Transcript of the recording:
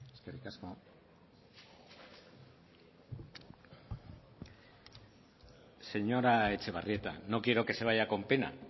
eskerrik asko señora etxebarrieta no quiero que se vaya con pena